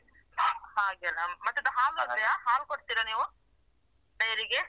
ಮತ್ತೆ ಅದು ಹಾಲು ಇದೆಯಾ ಹಾಲು ಕೊಡ್ತಿರಾ ನೀವು dairy ಗೆ?